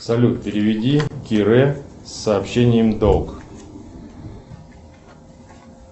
салют переведи кирэ с сообщением долг